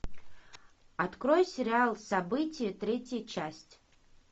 открой сериал события третья часть